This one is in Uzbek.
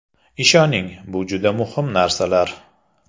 Ishoning, bu juda muhim narsalar.